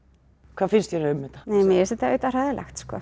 hvað finnst þér um þetta mér finnst þetta auðvitað hræðilegt sko